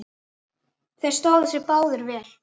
Þeir stóðu sig báðir vel.